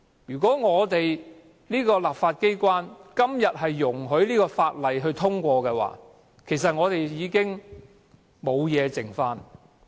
如果立法機關今天容許《條例草案》通過，香港還有甚麼價值？